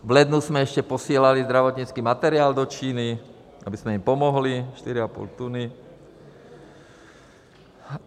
V lednu jsme ještě posílali zdravotnický materiál do Číny, abychom jim pomohli, 4,5 tuny.